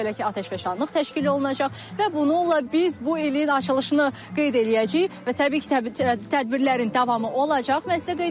Belə ki, atəşfəşanlıq təşkil olunacaq və bununla biz bu ilin açılışını qeyd eləyəcəyik və təbii ki, tədbirlərin davamı olacaq.